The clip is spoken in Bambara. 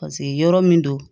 Paseke yɔrɔ min don